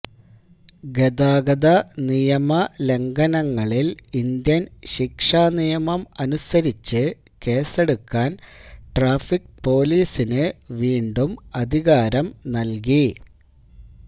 ഗതാഗത നിയമലംഘനങ്ങളില് ഇന്ത്യന് ശിക്ഷാനിയമം അനുസരിച്ച് കേസെടുക്കാന് ട്രാഫിക് പോലീസിന് വീണ്ടും അധികാരം നല്കി